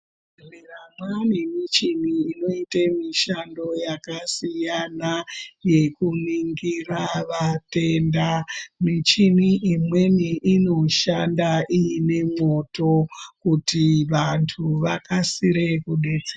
Muzvibhehlera mwane michini inoite mishando yakasiyana, yekuningira vatenda michini imweni inoshanda iine mwoto kuti vantu vakasire kudetse.